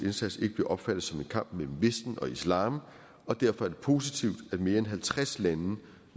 indsats ikke bliver opfattet som en kamp mellem vesten og islam og derfor er det positivt at mere end halvtreds lande nu